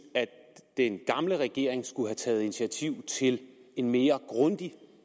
at den gamle regering skulle have taget initiativ til en mere grundig